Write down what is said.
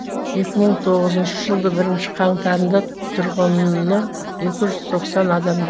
екі мың тоғызыншы жылдың бірінші қаңтарында тұрғыны екі жүз тоқсан адамды